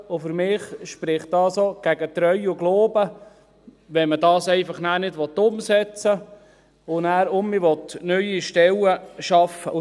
Für mich spricht es auch gegen Treu und Glauben, wenn man dies nicht umsetzen und wieder neue Stellen schaffen will.